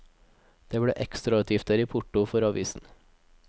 Det ble ekstrautgifter i porto for avisen.